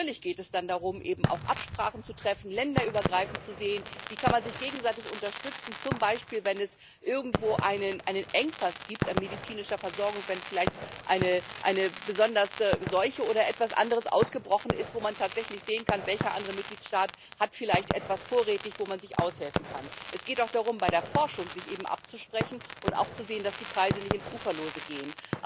Natürlich geht es dann darum, auch Absprachen zu treffen, länderübergreifend zu sehen, wie man sich gegenseitig unterstützen kann, zum Beispiel, wenn es irgendwo einen Engpass an medizinischer Versorgung gibt, wenn vielleicht eine besondere Seuche oder etwas anderes ausgebrochen ist, wo man tatsächlich sehen kann, welcher andere Mitgliedstaat vielleicht etwas vorrätig hat, wo man sich aushelfen kann. Es geht auch darum, sich bei der Forschung abzusprechen und auch zu sehen, dass die Preise nicht ins Uferlose gehen.